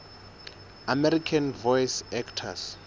american voice actors